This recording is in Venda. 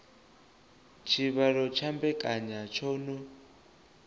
tshivhalo tsha mbekanya tsho no